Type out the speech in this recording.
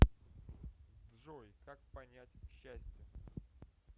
джой как понять счастье